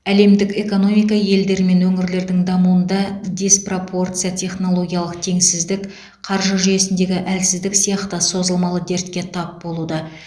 әлемдік экономика елдер мен өңірлердің дамуында диспропорция технологиялық теңсіздік қаржы жүйесіндегі әлсіздік сияқты созылмалы дертке тап болуда